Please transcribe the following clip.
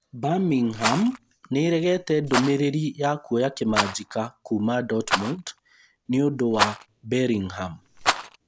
Birmingham nĩĩregete ndũmĩrĩri ya kuoya kĩmanjĩka kuuma Dortmund nĩũndũ wa Bellingham